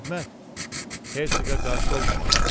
Bu xidmət Hersoqa qarşı olmamalıdır.